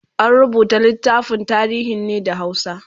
an rubuta littafin tarihin ne da hausa